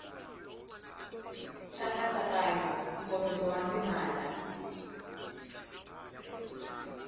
xa nkatsakanyo nkomiso wa ndzima